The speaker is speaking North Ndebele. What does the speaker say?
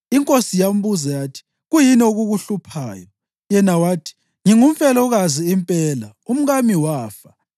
Inkosi yambuza yathi, “Kuyini okukuhluphayo?” Yena wathi, “Ngingumfelokazi impela, umkami wafa.